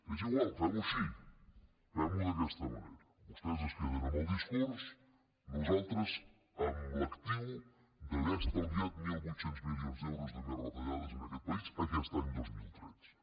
és igual femho així femho d’aquesta manera vostès es queden amb el discurs nosaltres amb l’actiu d’haver estalviat mil vuit cents milions d’euros de més retallades en aquest país aquest any dos mil tretze